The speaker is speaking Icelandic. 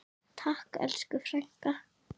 Takk elsku frænka.